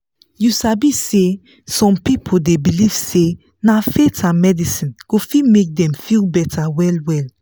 you sabi say some people dey believe say na faith and medicine go fit make dem feel better well well.